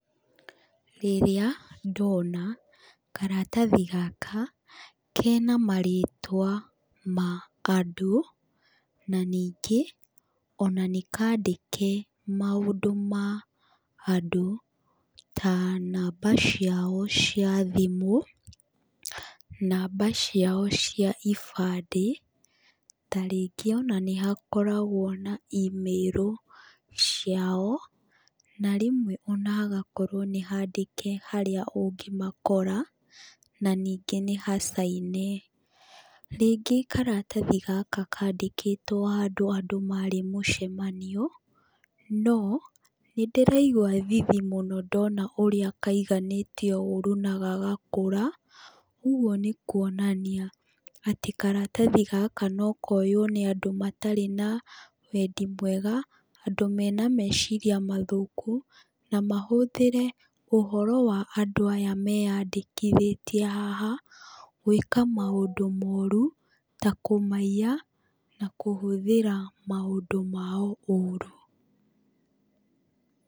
Rĩrĩa ndona karatathi gaka, kena marĩtwa ma andũ, na ningĩ, ona nĩ kandĩke maũndũ ma andũ. Ta namba ciao cia thimũ, namba ciao cia ibandĩ, tarĩngĩ ona nĩ hakoragwo na emĩro ciao. Na rĩmwe ona hagakorwo nĩ handĩke harĩa ũngĩmakora, na ningĩ nĩ hacaine. Rĩngĩ karatathi gaka kandĩkĩtwo handũ andũ marĩ mũcemanio, no, nĩ ndĩraigua thithi mũno ndona ũrĩa kaiganĩtio ũũru na gagakũra. Ũguo nĩ kuonania, atĩ karatathi gaka no koywo nĩ andũ matarĩ na wendi mwega, andũ mena meciria matũku, na mahũthĩre ũhoro wa andũ aya meyandĩkithĩtie haha, gwĩka maũndũ mooru, ta kũmaiya, na kũhũthĩra maũndũ mao ũũru.